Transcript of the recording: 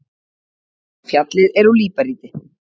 Fjallið er úr líparíti.